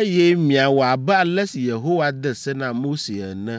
Eye miawɔ abe ale si Yehowa de se na Mose ene.